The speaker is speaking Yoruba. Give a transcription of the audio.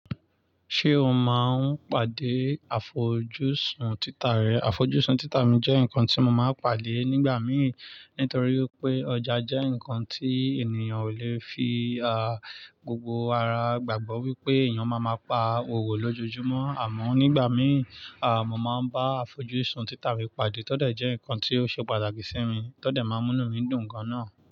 Ṣé o máa ń pàdé àfojúsùn títà rẹ? Àfojúsùn títà mi jẹ́ nǹkan tí mo máa ń pàdé nígbà mi, nítorí pé ọjà jẹ́ nǹkan tí ènìyàn ò lè fi, à, gbogbo ara gbàgbọ́ wípé èèyàn máa ma pa òwò lójojúmọ́ àmọ́ nígbà mí, à, mo máa ń bá àfojúsùn títà mi pàdé tọ́ dẹ̀ jẹ́ nǹkan tí ó ṣe pàtàkì sí mi, tọ́ dẹ̀ máa ń múni mi dùn gan náà.